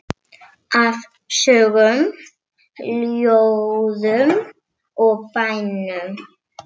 Af sögum, ljóðum og bænum.